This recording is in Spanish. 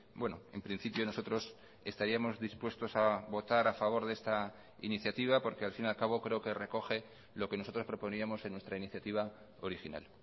bueno en principio nosotros estaríamos dispuestos a votar a favor de esta iniciativa porque al fin y al cabo creo que recoge lo que nosotros proponíamos en nuestra iniciativa original